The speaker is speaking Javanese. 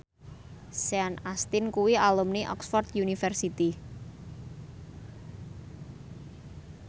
Sean Astin kuwi alumni Oxford university